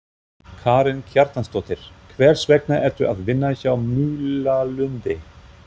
Karen Kjartansdóttir: Hvers vegna ertu að vinna hjá Múlalundi?